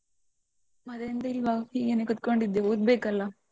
ಮತ್ತೆ ಎಂತ ಇಲ್ವಾ, ಹೀಗೇನೆ ಕುತ್ಕೊಂಡಿದ್ದೆ ಓದ್ಬೇಕಲ್ಲ.